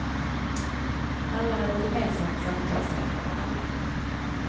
Alla hade ett gemensamt samtalsämne med alla.